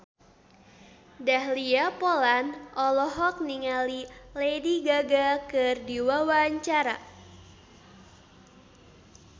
Dahlia Poland olohok ningali Lady Gaga keur diwawancara